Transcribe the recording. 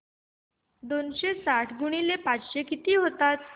दोनशे साठ गुणिले पाच किती होतात